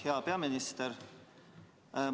Hea peaminister!